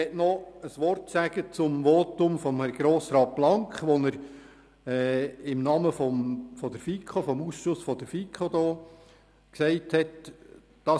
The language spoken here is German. Ich möchte noch ein Wort zum Votum von Grossrat Blank sagen, das dieser im Namen des Ausschusses der FiKo gehalten hat: